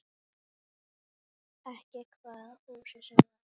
Ekki hvaða húsi sem var.